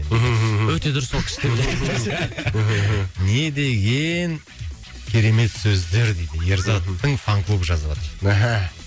өте дұрыс сол кісінікі не деген керемет сөздер дейді ерзаттың фан клубы жазыватыр